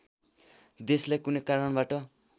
देशलाई कुनै कारणबाट